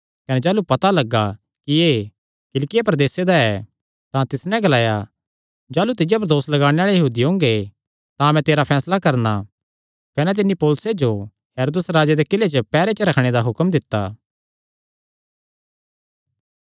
कने जाह़लू पता लग्गा कि एह़ किलिकिया प्रदेसे दा ऐ तां तिस नैं ग्लाया जाह़लू तिज्जो पर दोस लगाणे आल़े यहूदी ओंगे तां मैं तेरा फैसला करणा कने तिन्नी पौलुसे जो हेरोदेस राजे दे किल्ले च पैहरे च रखणे दा हुक्म दित्ता